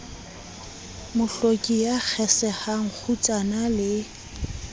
mohloki ya kgesehang kgutsana le